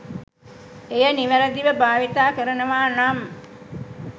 එය නිවැරදිව භාවිතා කරනවානම්